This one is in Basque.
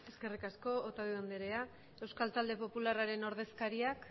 eskerrik asko otadui andrea euskal talde popularraren ordezkariak